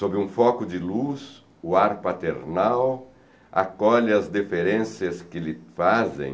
Sob um foco de luz, o ar paternal acolhe as deferências que lhe fazem